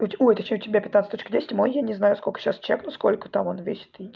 ой ты что у тебя пятнадцать точка десять мой я не знаю сколько сейчас чек ну сколько там он весит